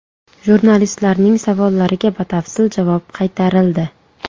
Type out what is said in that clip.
Jurnalistlarning savollariga batafsil javob qaytarildi.